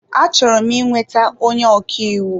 Achọrọ m ị nweta onye ọkaiwu.